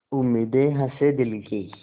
उम्मीदें हसें दिल की